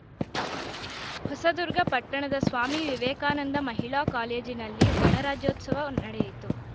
ಹೊಸದುರ್ಗ ಪಟ್ಟಣದ ಸ್ವಾಮಿ ವಿವೇಕಾನಂದ ಮಹಿಳಾ ಕಾಲೇಜಿನಲ್ಲಿ ಗಣರಾಜ್ಯೋತ್ಸವ ನಡೆಯಿತು